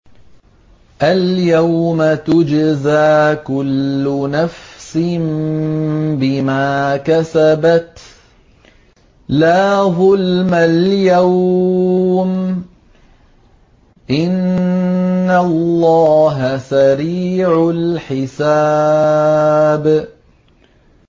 الْيَوْمَ تُجْزَىٰ كُلُّ نَفْسٍ بِمَا كَسَبَتْ ۚ لَا ظُلْمَ الْيَوْمَ ۚ إِنَّ اللَّهَ سَرِيعُ الْحِسَابِ